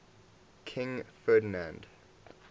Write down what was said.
king ferdinand